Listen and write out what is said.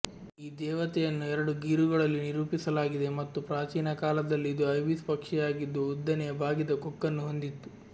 ಈ ದೇವತೆಯನ್ನು ಎರಡು ಗೀರುಗಳಲ್ಲಿ ನಿರೂಪಿಸಲಾಗಿದೆ ಮತ್ತು ಪ್ರಾಚೀನ ಕಾಲದಲ್ಲಿ ಇದು ಐಬಿಸ್ ಪಕ್ಷಿಯಾಗಿದ್ದು ಉದ್ದನೆಯ ಬಾಗಿದ ಕೊಕ್ಕನ್ನು ಹೊಂದಿತ್ತು